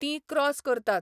तीं क्रॉस करतात